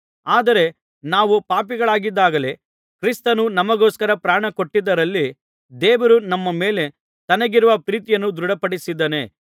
ಆದರೆ ನಾವು ಪಾಪಿಗಳಾಗಿದ್ದಾಗಲೇ ಕ್ರಿಸ್ತನು ನಮಗೋಸ್ಕರ ಪ್ರಾಣಕೊಟ್ಟದ್ದರಲ್ಲಿ ದೇವರು ನಮ್ಮ ಮೇಲೆ ತನಗಿರುವ ಪ್ರೀತಿಯನ್ನು ದೃಢಪಡಿಸಿದ್ದಾನೆ